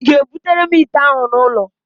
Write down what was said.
Ị ga-ebutere m ite ahụ n'ụlọ?